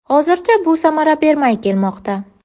Hozircha bu samara bermay kelmoqda.